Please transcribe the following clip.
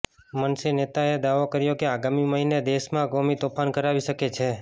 મનસે નેતાએ દાવો કર્યો કે આગામી મહિને દેશમાં કોમી તોફાન કરાવી શકે છે